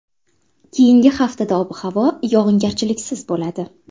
Keyingi haftada ob-havo yog‘ingarchiliksiz bo‘ladi.